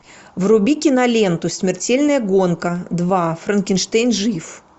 вруби киноленту смертельная гонка два франкенштейн жив